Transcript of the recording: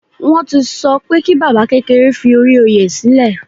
Wọn ti sọ pé kí baba kékeré fi ori oyè silẹ